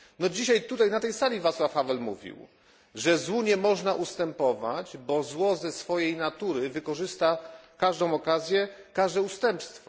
Dzisiaj na tej sali Václav Havel mówił, że złu nie można ustępować, bo zło ze swojej natury wykorzysta każdą okazję, każde ustępstwo.